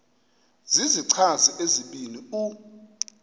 zizichazi ezibini u